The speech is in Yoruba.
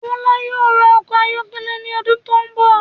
Bọla yóò rà ọkọ ayọkẹlẹ ní ọdún tó n bọ